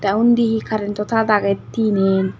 aa undi hee karento tad agey tinen.